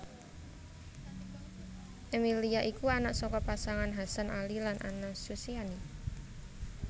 Emilia iku anak saka pasangan Hasan Ali lan Anna Susiani